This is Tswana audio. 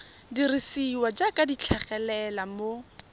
dirisiwa jaaka di tlhagelela mo